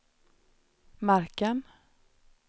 marken